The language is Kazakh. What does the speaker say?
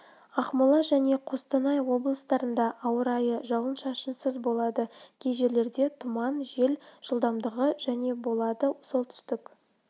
ақмола және қостанай облыстарында ауа райы жауын-шашынсыз болады кей жерлерде тұман жел жылдамдығы және болады солтүстік